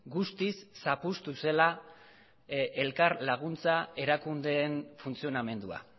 guztiz zapuztu zela elkar laguntza erakundeen funtzionamendua